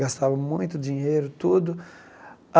Gastava muito dinheiro, tudo.